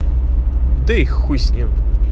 да и хуй с ним